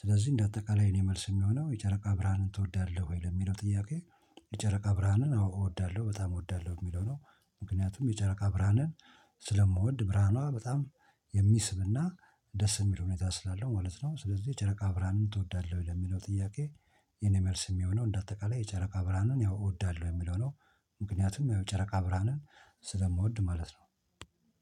ስለዚህ እንደ አጠቃላይ የእኔ መልስ የሚሆነው የጨረቃ ብርሃንን ትወዳለህ ወይ ለሚለው ጥያቄ? የጨረቃ ብርሃንን አዋ እወዳለሁ በጣም እወዳለሁ የሚለው ነው። ምክንያቱም የጨረቃ ብርሃንን ስለምወድ ብርሃኗ በጣም የሚስብና ደስ የሚል ሁኔታ ስላለው ማለት ነው። ስለዚህ የጨረቃ ብርሃንን ትወዳለህ ለሚለው ጥያቄ? የኔ መልስ የሚሆነው እንደ አጠቃላይ የጨረቃ ብርንን ያው እወዳለሁ የሚለው ነው። ምክንያቱም ያው ጨረቃ ብርሃንን ስለምወድ ማለት ነው